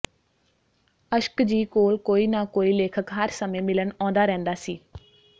ਅਸ਼ਕ ਜੀ ਕੋਲ ਕੋਈ ਨਾ ਕੋਈ ਲੇਖਕ ਹਰ ਸਮੇਂ ਮਿਲਣ ਆਉਂਦਾ ਰਹਿੰਦਾ ਸੀ